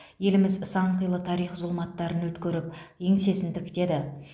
еліміз сан қилы тарих зұлматтарын өткеріп еңсесін тіктеді